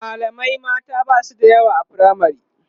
mallamai mata Basu da yawa a firamare